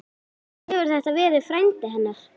Kannski hefur þetta verið frændi hennar?